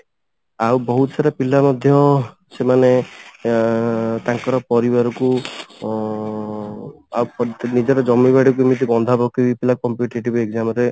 ଆଉ ବହୁତ ସାରା ପିଲା ମଧ୍ୟ ସେମାନେ ଅ ତାଙ୍କର ପରିବାରକୁ ଅ ଆଉ ପ ନିଜର ଜମି ବାଡି କେମିତି ବନ୍ଧା ପକେଇକିବି ପିଲା competitive exam ରେ